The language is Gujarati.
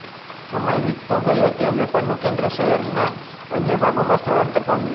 સમય વીતતો ગયો તેમ વેપારનું કેન્દ્ર શહેરના અન્ય ભાગોમાં સ્થળાંતર પામ્યું